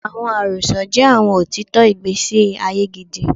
Awọn arosọ jẹ awọn otitọ igbesi aye gidi